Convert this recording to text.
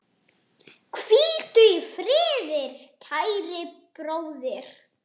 Hvíldu í friði, kæri bróðir.